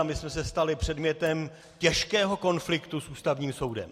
A my jsme se stali předmětem těžkého konfliktu s Ústavním soudem.